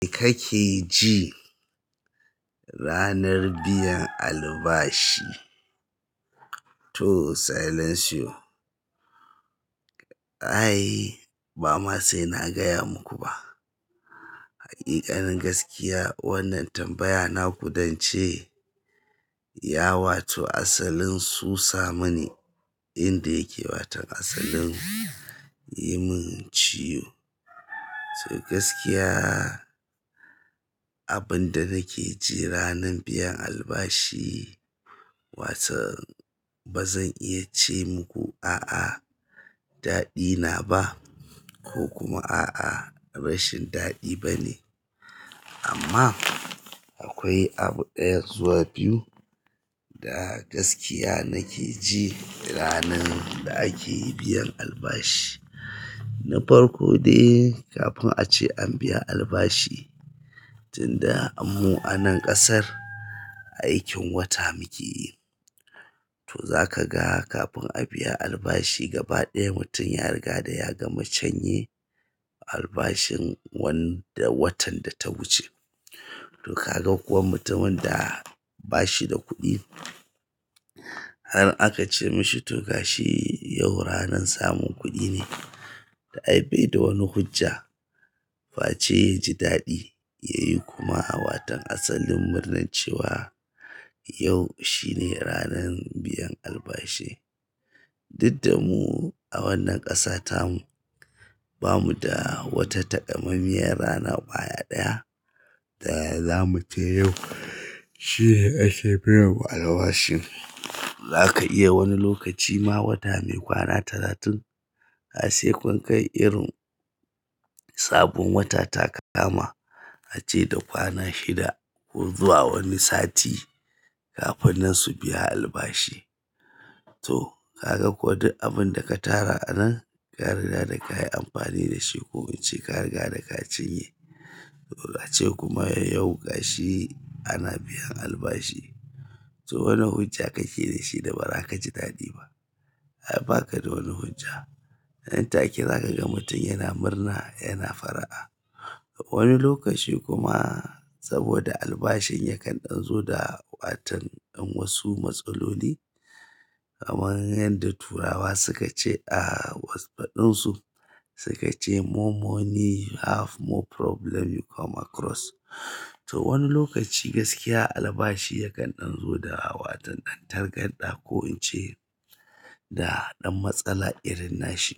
Me kake ji ranar biyan albashi. To silence you. Ai ba ma sai na gaya muku ba. Haƙiƙanin gaskiya wannan tambaya naku dance ya wato asalin susa mani inda yake watan asalin yi min ciwo. To gaskiya abin da nake ji ranar biyan albashi wato bazan iya ce muku a'a daɗi na ba ko kuma a'a rashin daɗi bane. Amma akwai abu ɗaya zuwa biyu da gaskiya nake ji ranar da ake biyan albashi. Na farko dai kafin ace an biya albashi tunda mu a nan ƙasar aikin wata muke yi. To zaka ga kafin a biya albashi gaba ɗaya mutum ya riga da ya gama canye albashin wanda watan da ta wuce. To kaga kuwa mutumin da bashi da kuɗi har aka ce mashi to gashi yau ranar samun kuɗi ne. Ta ai bai da wani hujja fa ce yaji daɗi yayi kuma a watan asalin murnar cewa yau shine ranar biyan albashi. Duk da mu a wannan kasa tamu. Bamu da wata takammamiyar rana kwaya ɗaya da zamu ce yau shine ake biyan mu albashin. Zaka iya wani lokaci ma wata mai kwana talatin a sai kun kai irin sabon wata ta ka kama ace da kwana shida ko zuwa wani sati kafin nan su biya albashi. To kaga kuwa duk abin da ka tara a nan ka riga da ka yi amfani da shi ko in ce ka riga da ka cinye. To ace kuma yau gashi ana biyan albashi. To wane hujja kake da shi da bara ka ji daɗi ba? Ai ba ka da wani hujja. Nan take za ka ga mutum yana murna yana fara'a. Wani lokaci kuma saboda albashin yakan ɗan zo da watan wasu matsaloli. Kaman yanda turawa suka ce a wasu faɗin su suka ce "More money you have more problem you come across." To wani lokaci gaskiya albashi yakan ɗan zo da a waton ɗan targanɗa ko in ce da ɗan matsala irin nashi.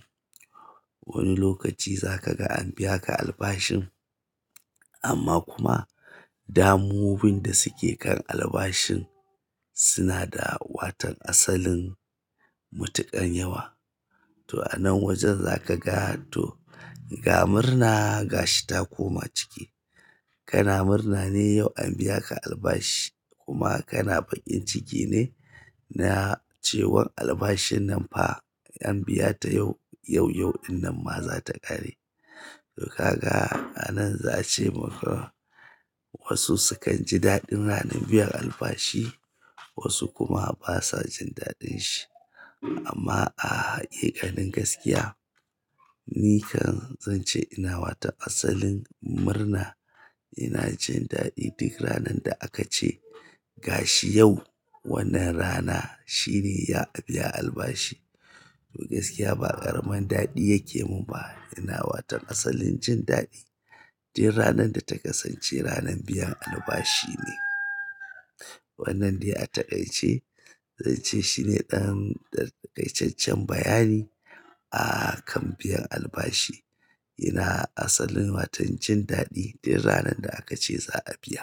Wani lokaci za ka ga an biya ka albashin amma kuma damuwowin da suke kan albashin suna da waton asalin matuƙan yawa. To a nan wajen zaka ga to ga murna ga shi ta koma ciki. Kana murna ne yau an biya ka albashi, kuma kana bakin ciki ne na cewa albashin pa. An biya ta yau, yau-yau dinnan ma za ta ƙare. To kaga a nan za ce maka wasu sukan ji daɗin ranar biyan albashi wasu kuma basa jin daɗin shi. Amma a haƙiƙanin gaskiya ni kan zan ce ina wato asalin murna ina jin daɗi duk ranar da aka ce gashi yau wannan rana shine ya a biya albashi. To gaskiya ba ƙaramin daɗi yake mun ba. Ina waton asalin jin daɗi duk ranar da ta kasance ranar biyan albashi ne. Wannan dai a taƙaice zan ce shine ɗan da taƙaiceccen bayani a kan biyan albashi. Ina asalin waton jin daɗi duk ranar da aka ce za a biya.